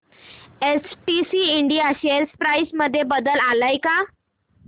STC India share price मध्ये बदल आलाय का